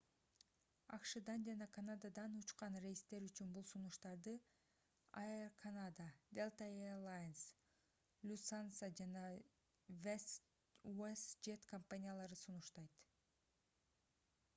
акшдан жана канададан учкан рейстер үчүн бул сунуштарды air canada delta air lines lufthansa жана westjet компаниялары сунуштайт